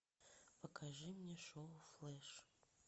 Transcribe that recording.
покажи мне шоу флэш